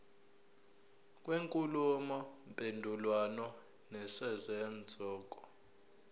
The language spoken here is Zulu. kwenkulumo mpendulwano nesenzeko